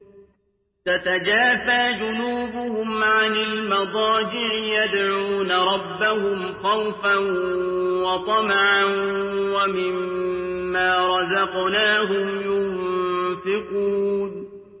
تَتَجَافَىٰ جُنُوبُهُمْ عَنِ الْمَضَاجِعِ يَدْعُونَ رَبَّهُمْ خَوْفًا وَطَمَعًا وَمِمَّا رَزَقْنَاهُمْ يُنفِقُونَ